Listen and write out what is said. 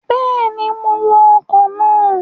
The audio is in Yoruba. Bẹ́ẹ̀ni, mo wọ ọkọ̀ náà